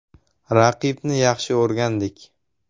Raqibni yaxshi o‘rgandik.